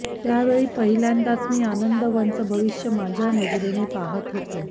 त्या वेळी पहिल्यांदाच मी आनंदवनाचं भविष्य माझ्या नजरेने पाहत होतो